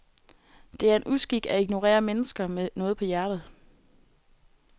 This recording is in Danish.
Det er en uskik at ignorere mennesker med noget på hjertet.